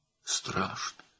Qorxuncdur.